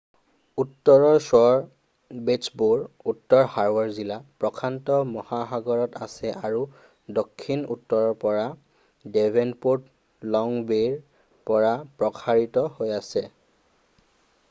উত্তৰৰ শ্ব'ৰ বেচ্চবোৰ উত্তৰ হাৰ্বৰ জিলা প্ৰশান্ত মহাসাগৰত আছে আৰু দক্ষিণত উত্তৰৰ পৰা ডেভ'নপ'ৰ্টত লং বে'ৰ পৰা প্ৰসাৰিত হৈ আছে।